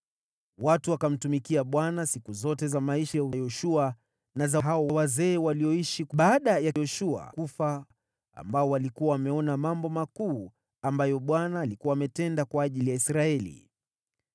Watu wakamtumikia Bwana siku zote za maisha ya Yoshua, na za hao wazee walioishi baada ya Yoshua kufa, waliokuwa wameona mambo makuu ambayo Bwana alikuwa ametenda kwa ajili ya Israeli.